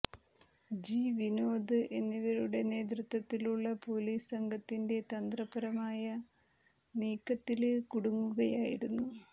G Vinod എന്നിവരുടെ നേതൃത്വത്തിലുള്ള police സംഘത്തിന്റെ തന്ത്രപരമായ നീക്കത്തില് കുടുങ്ങുകയായിരുന്നു